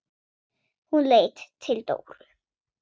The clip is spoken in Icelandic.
Hún leit til Dóru.